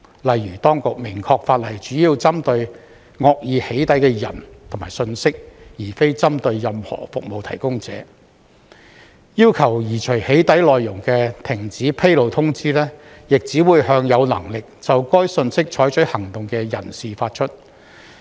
例如，當局明確表示，法例主要針對惡意"起底"的人和信息，而非針對任何服務提供者；要求移除"起底"內容的停止披露通知，亦只會向有能力就該信息採取行動的人士發出。